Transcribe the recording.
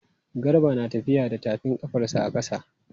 Garba na tafiya da tafin ƙafarsa a ƙasa.